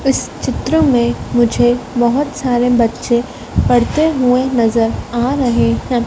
उस चित्र में मुझे बहोत सारे बच्चे पढ़ते हुए नजर आ रहे हैं।